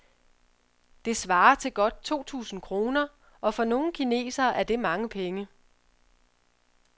Det svarer til godt to tusinde kroner, og for nogle kinesere er det mange penge.